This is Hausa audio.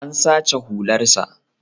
An sace hularsa.